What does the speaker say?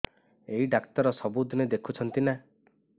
ଏଇ ଡ଼ାକ୍ତର ସବୁଦିନେ ଦେଖୁଛନ୍ତି ନା